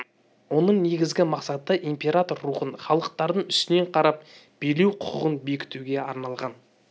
оның негізгі мақсаты император рухын халықтардың үстінен қарап билеу құқығын бекітуге арналған